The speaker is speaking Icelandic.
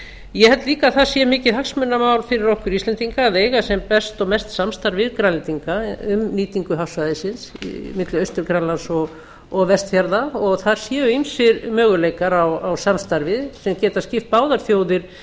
ég held líka að það sé mikið hagsmunamál fyrir okkur íslendinga að eiga sem best og mest samstarf við grænlendinga um nýtingu hafsvæðisins milli austur grænlands og vestfjarða og það séu ýmsir möguleikar á samstarfi sem geti skipt báðar þjóðir